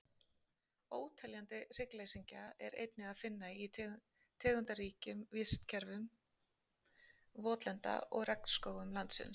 Óteljandi hryggleysingja er einnig að finna í tegundaríkum vistkerfum votlenda og regnskóga landsins.